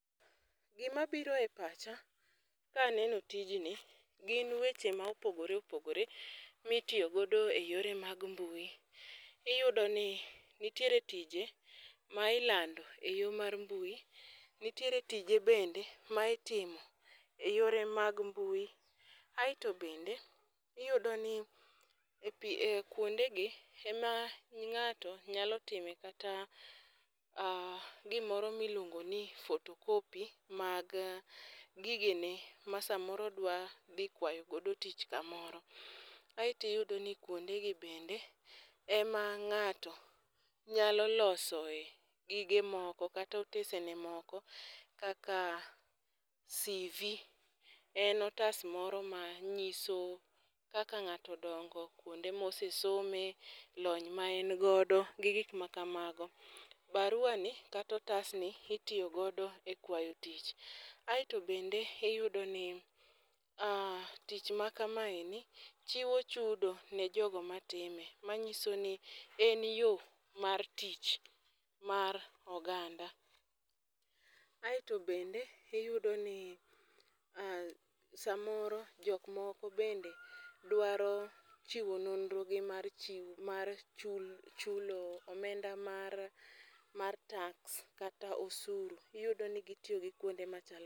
Gima biro e pacha kaneno tijni gin weche ma opogore opogore mitiyo godo e yore mag mbui. Iyudo ni nitiere tije ma ilando e yo mar mbui, nitiere tije bende ma itimo e yore mag mbui. Aeto bende iyudo ni e pi e kuonde gi ema ng'ato nyalo time kata gimoro miluongo ni photocopy mag gige ne ma samoro odwa dhi kwayo godo tich kamoro aeti yudo ni kuonde gi bende ema ng'ato nyalo loso e gige moko kata otese ne moko kaka CV en otas moro manyiso kaka ng'ato odongo kuonde mosesome lony ma en godo gi gik makamago. Barua ni kato otas ni itiyo godo e kwayo tich. Aeto bende iyudo ni tich ma kama endi chiwo chudo ne jogo matime manyiso ni en yoo mar tich mar oganda. Aeto bende iyudo ni samoro jok moko bende dwaro chiwo nonro gi mar chi chul chulo omenda mar mar tax kata osuru iyudo ni gitiyo gi kuonde macha kama.